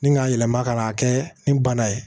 Ni k'a yɛlɛma ka n'a kɛ nin bana ye